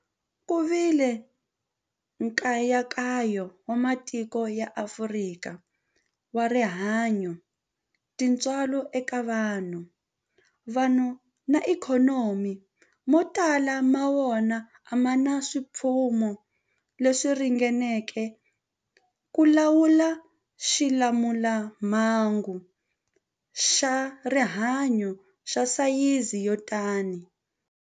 Ku vile nkayakayo wa matiko ya Afrika wa rihanyu, tintswalo eka vanhu, vanhu na ikhonomi, mo tala ma wona a ma na swipfuno leswi ringaneleke ku lawula xilamulelamhangu xa rihanyu xa sayizi yo tani.